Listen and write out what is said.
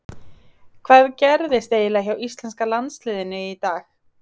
Hvað gerðist eiginlega hjá íslenska liðinu í dag?